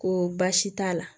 Ko baasi t'a la